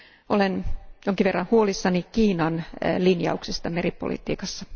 Olen jonkin verran huolissani Kiinan linjauksista meripolitiikassa.